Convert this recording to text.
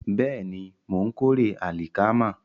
Bẹ́ẹ̀ni, mò ń kórè àlìkámà